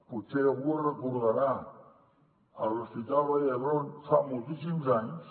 potser algú el recordarà a l’hospital vall d’hebron fa moltíssims anys